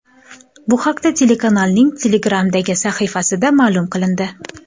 Bu haqda telekanalning Telegram’dagi sahifasida ma’lum qilindi .